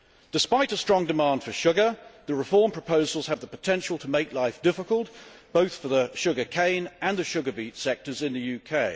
Despite a strong demand for sugar, the reform proposals have the potential to make life difficult for both the sugar cane and the sugar beet sectors in the UK.